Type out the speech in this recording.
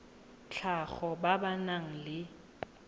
tlhago ba ba nang le